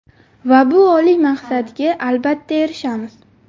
Va bu oliy maqsadga albatta erishamiz.